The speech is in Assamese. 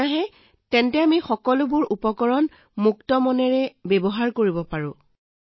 যিহেতু কোনো বিল নাই আমি সকলোবোৰ মুক্ত মনেৰে ব্যৱহাৰ কৰিব পাৰোঁ